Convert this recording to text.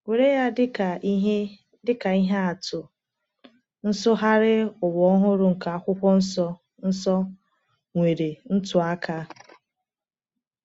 Were ya dịka ihe dịka ihe atụ, Nsụgharị Ụwa Ọhụrụ nke Akwụkwọ Nsọ Nsọ — nwere ntụaka.